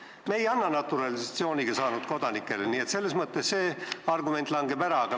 Me ei anna topeltkodakondsust naturalisatsiooniga kodakondsuse saanutele, nii et see argument langeb ära.